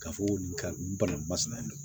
K'a fɔ ko nin ka nin balo in masina